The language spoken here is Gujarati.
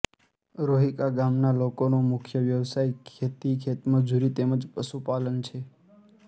રોહીકા ગામના લોકોનો મુખ્ય વ્યવસાય ખેતી ખેતમજૂરી તેમ જ પશુપાલન છે